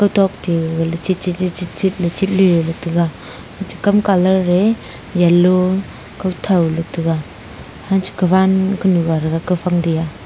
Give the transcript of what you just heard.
tokte gagley chitchitchitchit chitley taga che kam colour e yellow kothau ley taga hancha kawan kunu ga thaga kaufang ke a.